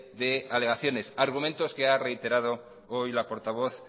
de alegaciones argumentos que ha reiterado hoy la portavoz